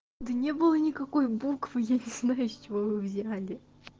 да не было никакой буквы я не знаю с чего вы взяли